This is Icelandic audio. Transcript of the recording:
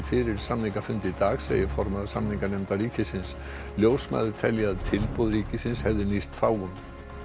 fyrir samningafund í dag segir formaður samninganefndar ríkisins ljósmæður telja að tilboð ríkisins hefði nýst fáum